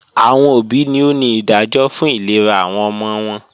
Awọn obi ni o ni idajọ fun ilera awọn ọmọ wọn